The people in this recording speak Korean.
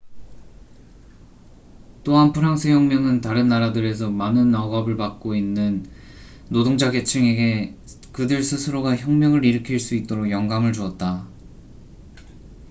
또한 프랑스 혁명은 다른 나라들에서 많은 억압 받고 있는 노동자 계층에게 그들 스스로가 혁명을 일으킬 수 있도록 영감을 주었다